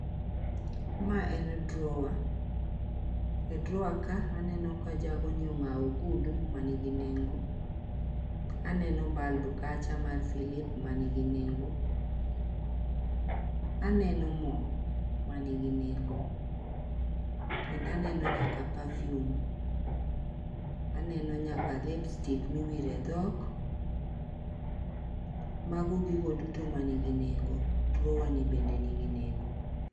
Mae en drawer, e drawer ka aneno ka jagoni ong'awo ogudu manigi nengo aneno bulb kacha mar silip manigi nengo , aneno moo manigi nengo kendo aneno nyaka perfume, aneno nyaka lipstick miwire dhok. Mago gigo duto manigi nengo .drawer ni be nigi nengo.